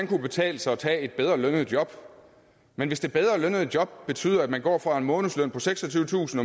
kunne betale sig at tage et bedre lønnet job men hvis det bedre lønnede job betyder at man går fra en månedsløn på seksogtyvetusind